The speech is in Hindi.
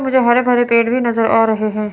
मुझे हरे भरे पेड़ भी नजर आ रहे हैं।